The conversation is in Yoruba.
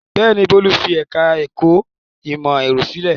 Bẹ́ẹ̀ ni, Bólú fi ẹ̀ka-ẹ̀kọ́ ìmọ̀-ẹ̀rọ sílẹ̀.